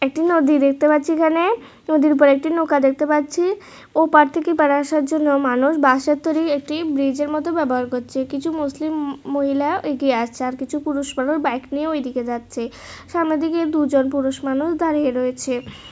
একটি নদী দেখতে পাচ্ছি এখানে নদীর পাড়ে একটি নৌকা দেখতে পাচ্ছি ওপার থেকে এপার আসার জন্য মানুষ বাঁশের তৈরী একটি ব্রিজের মতো ব্যবহার করছে কিছু মুসলিম মহিলা এগিয়ে আসছে আর কিছু পুরুষ মানুষ বাইক নিয়ে ওইদিকে যাচ্ছে সামনের দিকে দুজন পুরুষ মানুষ দাঁড়িয়ে রয়েছে।